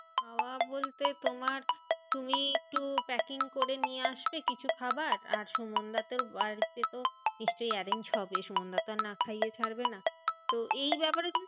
খাওয়া বলতে তোমার, তুমি একটু packing করে নিয়ে আসবে কিছু খাবার, আর সুমানদা তো বাড়িতে তো নিশ্চই arrange হবে। সুমানদা তো আর না খাইয়ে ছাড়বে না। তো এই ব্যাপারে তুমি